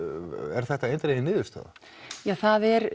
er þetta eindregin niðurstaða ja það er